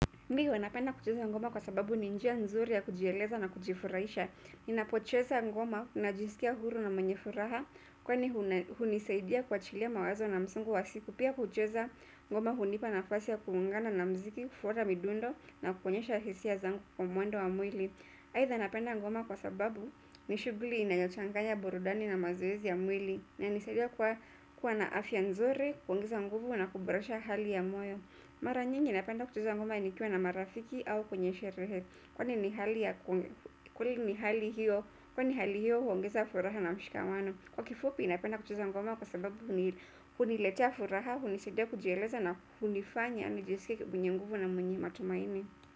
Ndiyo, napenda kucheza ngoma kwa sababu ni njia nzuri ya kujieleza na kujifurahisha. Ninapocheza ngoma ninajisikia huru na mwenye furaha kwani hunisaidia kuachilia mawazo na msongo wa siku. Pia kucheza ngoma hunipa nafasi ya kungangana na muziki, kufuata midundo na kuonyesha hisia zangu kwa mwendo wa mwili. Aidha napenda ngoma kwa sababu ni shughuli inayochanganya burudani na mazoezi ya mwili. Inanisaidia kuwa na afya nzuri, kuongeza nguvu na kuboresha hali ya moyo. Mara nyingi napenda kucheza ngoma nikiwa na marafiki au kwenye sherehe kwani ni hali hiyo huongeza furaha na mshikamano. Kwa kifupi napenda kucheza ngoma kwa sababu huniletea furaha, hunisaidia kujieleza na hunifanya nijisikie mwenye nguvu na mwenye matumaini.